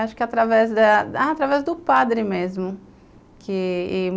Acho que através da do padre mesmo que e